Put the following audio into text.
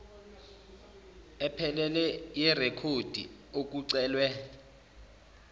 ephelele yerekhodi okucelwe